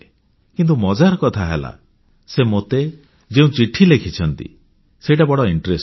କିନ୍ତୁ ମଜାର କଥା ହେଲା ସେ ମୋତେ ଯେଉଁ ଚିଠି ଲେଖିଛନ୍ତି ସେଇଟା ବଡ଼ ଆଗ୍ରହପ୍ରଦ